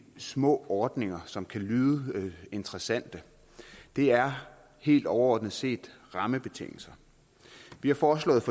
små ordninger som kan lyde interessante det er helt overordnet set rammebetingelserne vi har for